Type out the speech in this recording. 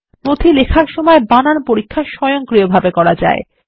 document লেখার সময় বানান পরীক্ষা স্বয়ংক্রিয়ভাবে করা যায়